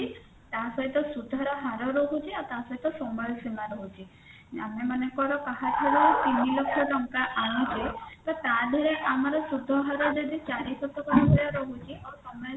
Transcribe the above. ତା ସହିତ ସୁଧ ର ହାର ରହୁଛି ଆଉ ତା ସହିତ ସମୟସୀମା ରହୁଛି ଆମେ ମନେକର କାହାଠାରୁ ତିନିଲକ୍ଷ ଟଙ୍କା ଆନୁଛେ ତ ଦେହେରେ ଆମର ସୁଧହାର ଯଦି ଚାରି ଶତକଡା ରହୁଛି ଆଉ ସମୟ